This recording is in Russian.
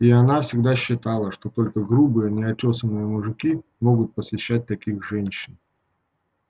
и она всегда считала что только грубые неотёсанные мужики могут посещать таких женщин